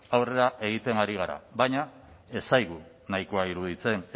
aurrera egiten ari gara baina ez zaigu nahikoa iruditzen